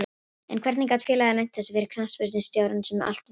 En hvernig gat félagið leynt þessu fyrir knattspyrnustjóranum sem allt veit?